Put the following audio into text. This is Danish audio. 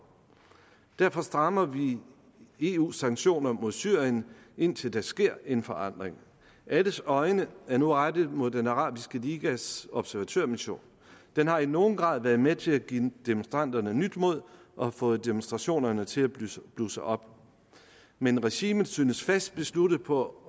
derfor strammer vi eus sanktioner mod syrien indtil der sker en forandring alles øjne er nu rettet mod den arabiske ligas observatørmission den har i nogen grad været med til at give demonstranterne nyt mod og har fået demonstrationerne til at blusse blusse op men regimet synes fast besluttet på